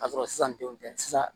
Ka sɔrɔ sisan denw tɛ sisan